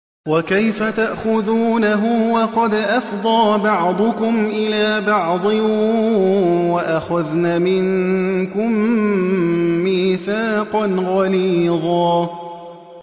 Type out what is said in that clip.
وَكَيْفَ تَأْخُذُونَهُ وَقَدْ أَفْضَىٰ بَعْضُكُمْ إِلَىٰ بَعْضٍ وَأَخَذْنَ مِنكُم مِّيثَاقًا غَلِيظًا